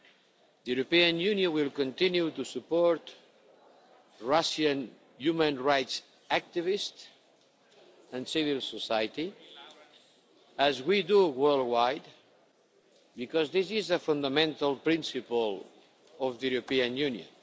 The European Union will continue to support Russian human rights activists and civil society as we do worldwide, because this is a fundamental principle of the European Union.